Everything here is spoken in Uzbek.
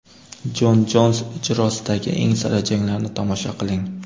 Jon Jons ijrosidagi eng sara janglarni tomosha qiling!